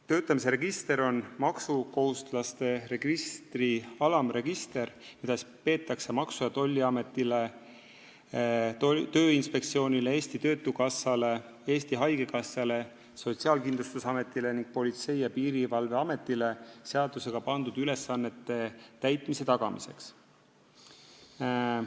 Töötamise register on maksukohustuslaste registri alamregister, mida peetakse Maksu- ja Tolliametile, Tööinspektsioonile, Eesti Töötukassale, Eesti Haigekassale, Sotsiaalkindlustusametile ning Politsei- ja Piirivalveametile seadusega pandud ülesannete täitmise tagamiseks.